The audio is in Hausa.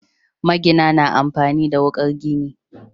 Magina na amfani da wuƙar gini.